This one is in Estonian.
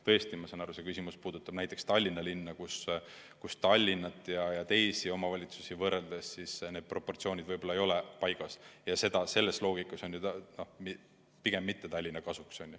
Tõesti, ma saan aru, et see küsimus puudutab näiteks Tallinna linna, kus Tallinna ja teisi omavalitsusüksusi võrreldes proportsioonid ei ole võib-olla paigas, ja selle loogika järgi pigem mitte Tallinna kasuks.